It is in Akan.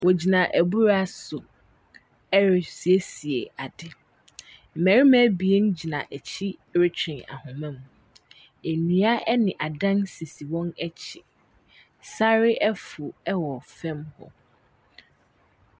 Ɔgyina abura so ɛresiesie ade, mmɛrima abien gyina akyi retwe ahoma mu. Nnua ɛne adan sisi wɔn akyi, sare afu ɛwɔ fɛm hɔ.